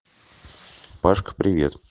пашка привет